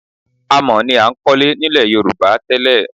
Amọ̀ ni a ń kọ́lé nílẹ̀ Yorùbá tẹ́lẹ̀